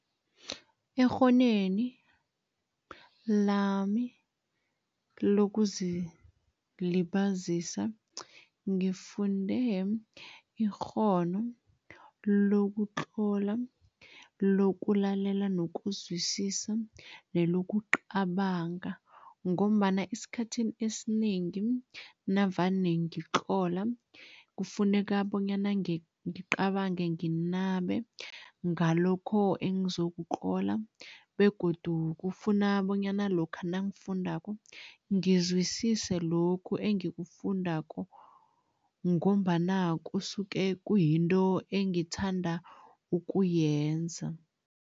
Ekghoneni lami lokuzilibazisa, ngifunde ikghono lokutlola, lokulalela nokuzwisisa nelokucabanga ngombana esikhathini esinengi navane ngikutlola, kufuneka bonyana ngicabange nginabe ngalokho engizokutlola begodu kufuna bonyana lokha nangifundako, ngizwisise lokhu engikufundako ngombana kusuke kuyinto engithanda ukuyenza.